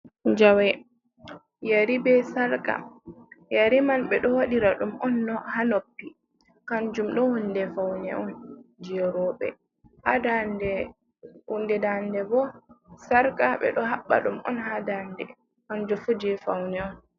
Jawe, yari be Sarka, yari man ɓe ɗo waɗira ɗum'on ha noppi, kanjum ɗo hunde faune'on je roɓe. Ha hunde Dande bo Sarka ɓe ɗo habɓa ɗum'on ha Dande kanjum fu je Faune'on.